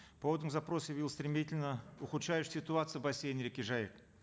поводом запроса явилась стремительно ухудшающаяся ситуация в бассейне реки жайык